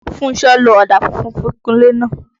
Fúnṣọ́ lo ọ̀dà funfun fi kunlé náà.